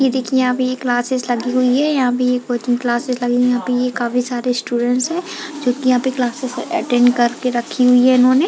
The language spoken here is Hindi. ये देखिए यहाँ पे ये क्लासेस लगी हुई है यहाँ पे ये कोचिंग क्लासेस लगी है यहाँ पे काफी सारे स्टूडेंटस है जो कि यहाँ पे क्लासेस अटेंड करके रखी हुई है इन्होंने--